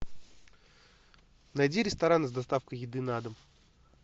найди рестораны с доставкой еды на дом